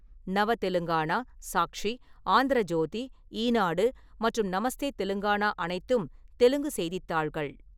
நவ தெலுங்கானா, சாக்ஷி, ஆந்திர ஜோதி, ஈனாடு மற்றும் நமஸ்தே தெலுங்கானா அனைத்தும் தெலுங்கு செய்தித்தாள்கள்.